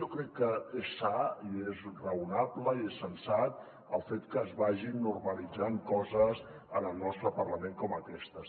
jo crec que és sa i és raonable i és sensat el fet que es vagin nor·malitzant coses en el nostre parlament com aquestes